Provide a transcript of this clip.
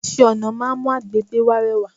Iṣẹ́-ọ̀nà máa ń mú àgbègbè wa rẹwà.